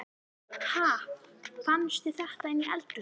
Ha! Fannstu þetta inni í eldhúsi?